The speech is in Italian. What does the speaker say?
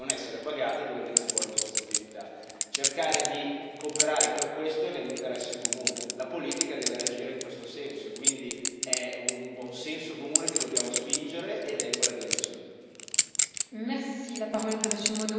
Ovviamente le tasse andrebbero pagate lì, quindi le tasse devono essere pagate dove viene svolta questa attività. Cercare di cooperare per questo è nell'interesse comune la politica deve reagire in questo senso, e quindi è un buon senso comune che dobbiamo spingere ed è in quella direzione.